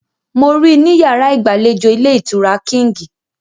Mo rí i ní yàrá ìgbàlejò ilé-ìtura Kíǹgì.